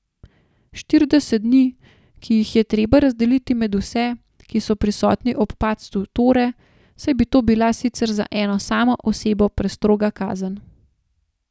Štirideset dni, ki jih je treba razdeliti med vse, ki so prisotni ob padcu Tore, saj bi to bila sicer za eno samo osebo prestroga kazen.